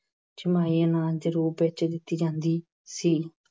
ਛਮਾਹੀ ਅਨਾਜ ਦੇ ਰੂਪ ਵਿੱਚ ਦਿੱਤੀ ਜਾਂਦੀ ਸੀ।